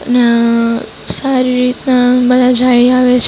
અને અહ સારી રીતના બધા જાય આવે છે.